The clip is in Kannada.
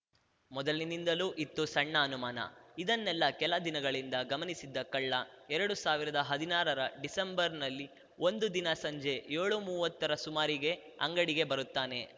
ಮೊದಲಿನಿಂದಲೂ ಇತ್ತು ಸಣ್ಣ ಅನುಮಾನ ಇದನ್ನೆಲ್ಲಾ ಕೆಲ ದಿನಗಳಿಂದ ಗಮನಿಸಿದ್ದ ಕಳ್ಳ ಎರಡು ಸಾವಿರದ ಹದಿನಾರರ ಡಿಸೆಂಬರ್‌ನಲ್ಲಿ ಒಂದು ದಿನ ಸಂಜೆ ಯೋಳುಮುವ್ವತ್ತರ ಸುಮಾರಿಗೆ ಅಂಗಡಿಗೆ ಬರುತ್ತಾನೆ